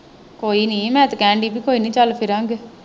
ਕੋਈ ਨਹੀਂ ਮੈਂ ਤੇ ਕਹਿਣ ਡਈ ਵੀ ਕੋਈ ਨੀ ਚੱਲ ਫਿਰਾਂਗੇ।